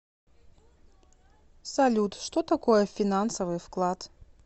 салют что такое финансовый вклад